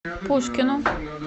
пушкину